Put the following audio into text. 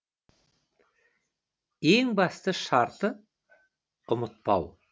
ең басты шарты ұмытпау